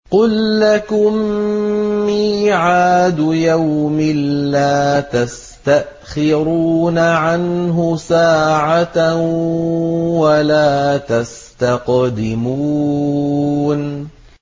قُل لَّكُم مِّيعَادُ يَوْمٍ لَّا تَسْتَأْخِرُونَ عَنْهُ سَاعَةً وَلَا تَسْتَقْدِمُونَ